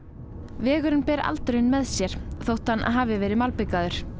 vegurinn ber aldurinn með sér þótt hann hafi verið malbikaður